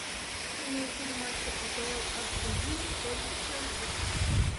прямой эфир матча апл астон виллы против челси